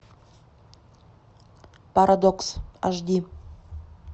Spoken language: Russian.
парадокс аш ди